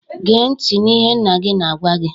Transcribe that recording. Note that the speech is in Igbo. "Gee ntị n'ihe nna gị na-agwa gị"